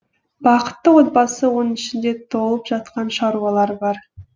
бақытты отбасы оның ішінде толып жатқан шаруалар бар